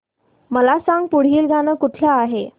मला सांग पुढील गाणं कुठलं आहे